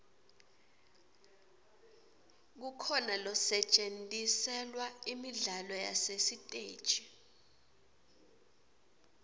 kukhona losetjentiselwa imidlalo yasesiteji